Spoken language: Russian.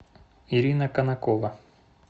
ирина конакова